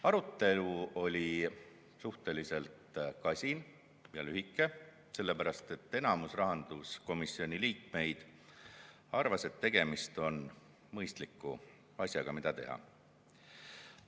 Arutelu oli suhteliselt kasin ja lühike, sellepärast et enamus rahanduskomisjoni liikmeid arvas, et tegemist on mõistliku asjaga, mida teha.